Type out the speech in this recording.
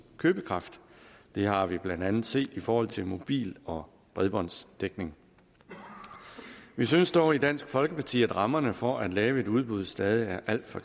købekraft det har vi blandt andet set i forhold til mobil og bredbåndsdækning vi synes dog i dansk folkeparti at rammerne for at lave et udbud stadig er alt for